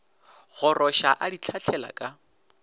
goroša a di hlahlela ka